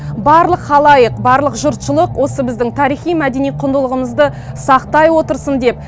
барлық халайық барлық жұртшылық осы біздің тарихи мәдени құндылығымызды сақтай отырсын деп